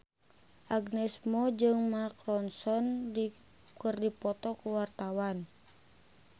Agnes Mo jeung Mark Ronson keur dipoto ku wartawan